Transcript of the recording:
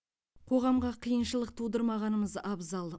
қоғамға қиыншылық тудырмағанымыз абзал